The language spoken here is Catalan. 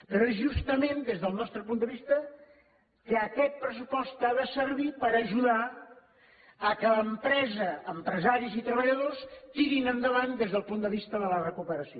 però és justament des del nostre punt de vista que aquest pressupost ha de servir per ajudar que l’empresa empresaris i treballadors tiri endavant des del punt de vista de la recuperació